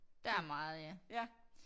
Der er meget ja